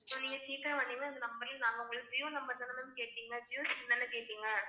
So நீங்க சீக்கிரம் வந்தீங்கன்னா, இந்த number யும் நாங்க உங்களுக்கு Jio number தான ma'am கேட்டீங்க Jio SIM தான கேட்டீங்க?